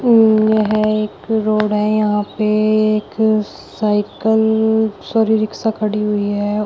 ऊम यह एक रोड है। यहां पे एक साइकल शौरी रिक्शा खड़ी हुई है।